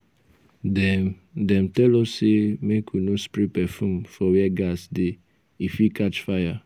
dem dem tell us sey make we no spray perfume for where gas dey e fit catch fire.